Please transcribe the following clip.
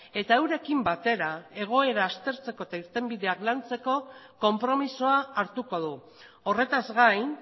eta eurekin batera egoera aztertzeko eta irtenbideak lantzeko konpromisoa hartuko du horretaz gain